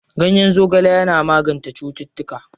Ganyen zogale yana magance cututtuka.